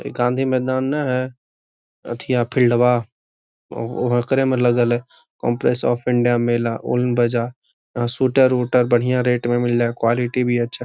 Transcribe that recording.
इ गांधी मैदान न है अथीया फील्डवा ह ओकरे में लगल है | कॉप्लेक्स ऑफ़ इंडिया उन बाजार सूटर उटर बढ़िया रेट में मिले है क्वॉलिटी भी अच्छा हैI